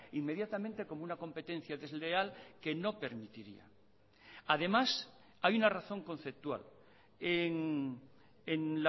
inmediatamente como una competencia desleal que no permitiría además hay una razón conceptual en